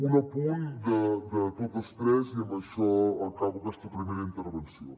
un apunt de totes tres i amb això acabo aquesta primera intervenció